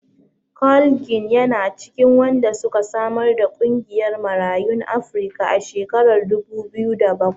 Carl Ginn yana cikin wanda suka samar da ƙungiyar Marayun Afrika a shekarar dubu biyu da bakwai.